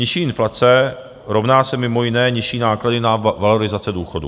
Nižší inflace rovná se mimo jiné nižší náklady na valorizace důchodů.